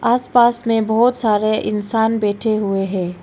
आस पास में बहुत सारे इंसान बैठे हुए है।